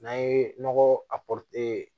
N'an ye nɔgɔ a